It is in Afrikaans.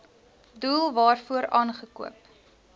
doel waarvoor aangekoop